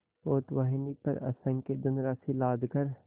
पोतवाहिनी पर असंख्य धनराशि लादकर